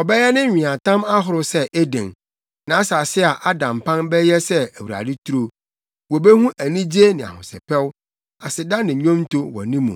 ɔbɛyɛ ne nweatam ahorow sɛ Eden, nʼasase a ada mpan bɛyɛ sɛ Awurade turo. Wobehu anigye ne ahosɛpɛw, aseda ne nnwonto wɔ ne mu.